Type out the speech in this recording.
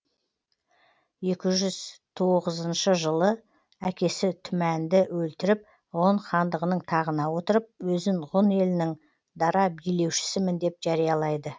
екі жүз тоғызыншы жылы әкесі тумәнді өлтіріп ғұн хандығының тағына отырып өзін ғұн елінің дара билеушісімін деп жариялайды